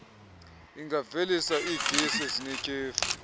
ingavelisa iigesi ezinetyhefu